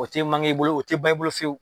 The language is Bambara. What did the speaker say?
O tɛ i bolo o tɛ ban i bolo fiyewu.